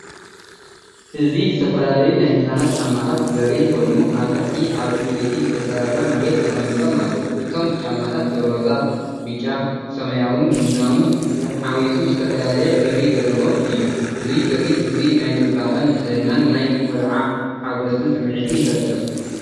እዚ ዝተፈላለዩ ናይ ህጻናት ጫማታት ዘርኢ ኮይኑ፡ ኣብ ታሕቲ ኣብ ዕንጨይቲ ዝተሰርሐ መሬት ተቐሚጦም ኣለዉ። እቶም ጫማታት ሮዛ፡ብጫ፡ ሰማያዊን ቡናዊን ሓዊሱ ዝተፈላለየ ሕብሪ ዘለዎም እዮም። እዚ ትርኢት እዚ ናይ ጽባቐን ንጽህናን ናይ ቈልዓ ሓጐስን ስምዒት ይፈጥር።